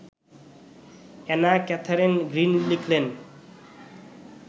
Anna Catherine Green লিখলেন